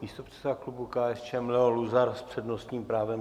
Místopředseda klubu KSČM Leo Luzar s přednostním právem.